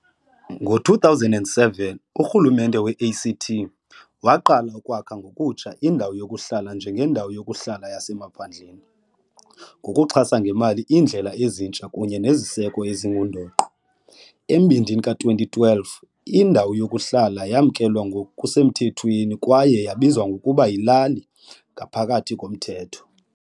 Ngo-2007 uRhulumente we-ACT waqala ukwakha ngokutsha indawo yokuhlala njengendawo yokuhlala yasemaphandleni, ngokuxhasa ngemali iindlela ezintsha kunye neziseko ezingundoqo. Embindini ka-2012 indawo yokuhlala yamkelwa ngokusemthethweni kwaye yabizwa ngokuba yilali ngaphakathi koMthetho.